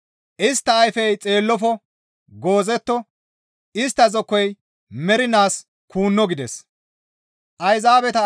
Istta ayfey xeellofo; goozetto; istta zokkoy mernaas kuunno» gides.